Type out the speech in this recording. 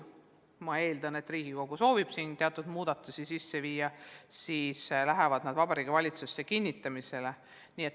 Ma eeldan, et Riigikogu soovib siin teatud muudatusi sisse viia, pärast lähevad need Vabariigi Valitsusse kinnitamisele.